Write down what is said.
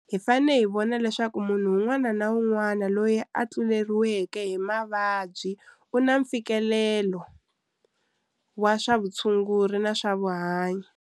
Hi fane hi vona leswaku munhu wun'wana na wun'wana loyi a tluleriweke hi mavabyi u na mfikelelo wa swa vutshunguri na swa vuhanyi.